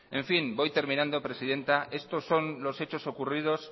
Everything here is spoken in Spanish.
en fin voy terminando presidenta estos son lo hecho ocurridos